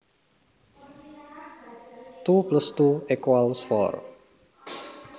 Two plus two equals four